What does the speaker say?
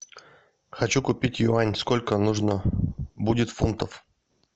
хочу купить юань сколько нужно будет фунтов